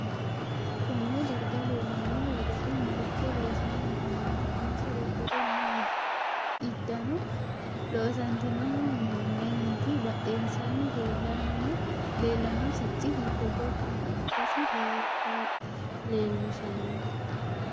Konne darga leelanno wedeli maricho loosani afamanno insa udire noo iddano loosantinohu mayiiniti badheensaani leelano sicci hiite gobbaha ikkasi leeloshanno